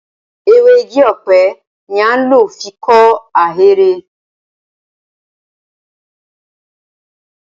Ewé igi ọ̀pẹ ni a ń lò fi kọ́ ahéré.